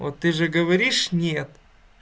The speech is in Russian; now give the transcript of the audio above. вот ты же говоришь нет